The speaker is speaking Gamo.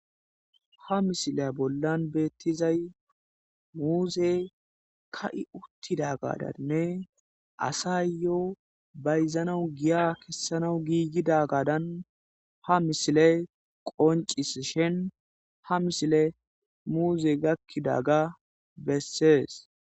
ha misile bollan beettizay muuzey ka7i uttida gadanne asayyyo bayzanawu giya kessanawu giigida gadan ha misile qoncis shen ha mishile muuze gakkidaga bessees